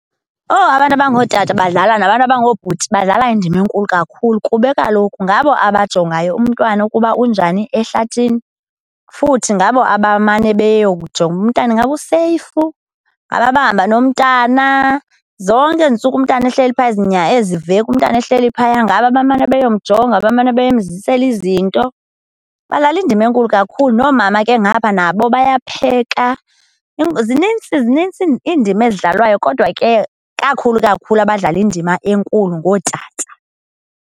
Oh, abantu abangootata badlala, nabantu abangoobhuti badlala indima enkulu kakhulu kube kaloku ngabo abajongayo umntwana ukuba unjani ehlathini, futhi ngabo abamane beyowujonga umntana ingaba useyifu. Ngabo abahamba nomntana. Zonke ezi ntsuku umntana ehleli phaa, ezi veki umntana ehleli phaya, ngabo abamane beyomjonga, bamane bemzisela izinto. Badlala indima enkulu kakhulu. Noomama ke ngapha nabo bayapheka. Zinintsi, zinintsi iindima ezidlalwayo, kodwa ke kakhulu kakhulu abadlala indima enkulu ngootata.